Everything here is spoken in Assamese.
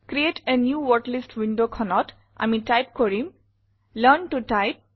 ক্ৰিএট a নিউ ৱৰ্ডলিষ্ট windowখনত আমি টাইপ কৰিম লাৰ্ণ ত Type